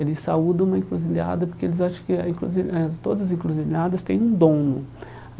Eles saudam uma encruzilhada porque eles acham que a encruzi eh que todas as encruzilhadas têm um dono.